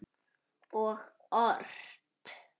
Og ort.